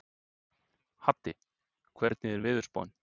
Haddi, hvernig er veðurspáin?